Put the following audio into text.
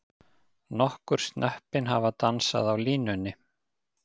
Nokkur snöppin hafa dansað á línunni.